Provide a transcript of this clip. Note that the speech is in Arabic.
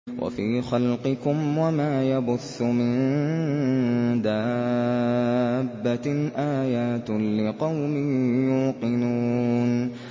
وَفِي خَلْقِكُمْ وَمَا يَبُثُّ مِن دَابَّةٍ آيَاتٌ لِّقَوْمٍ يُوقِنُونَ